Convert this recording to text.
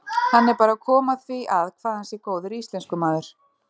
Hann er bara að koma því að hvað hann sé góður íslenskumaður.